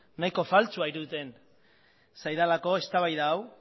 nahiko faltsua iruditzen zaidalako eztabaida hau